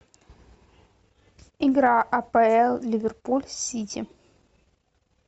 игра апл ливерпуль сити